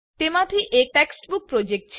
તેમાંથી એક textbook project છે